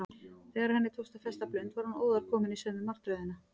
Þegar henni tókst að festa blund var hún óðar komin í sömu martröðina.